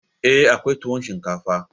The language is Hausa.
Eh, akwai tuwon shinkafa